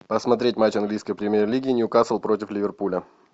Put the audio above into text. посмотреть матч английской премьер лиги ньюкасл против ливерпуля